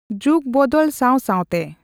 ᱡᱩᱜᱽ ᱵᱚᱫᱚᱞ ᱥᱟᱣ-ᱥᱟᱣᱛᱮ᱾